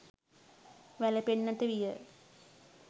වැළපෙන්නට විය.